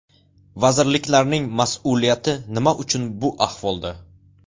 Vazirliklarning mas’uliyati nima uchun bu ahvolda?